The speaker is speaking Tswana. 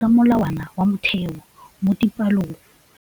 Baithuti ba ithuta ka molawana wa motheo mo dipalong.